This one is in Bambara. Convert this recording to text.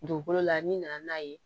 Dugukolo la ni nana n'a ye